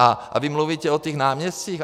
A vy mluvíte o těch náměstcích?